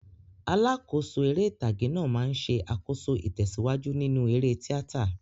Alákòóso eré ìtàgé náà máa ń ṣe àkóso ìtẹ̀síwájú nínú eré tíátà.